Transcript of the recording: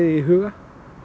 í huga